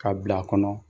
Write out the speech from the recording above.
K'a bil'a kɔnɔ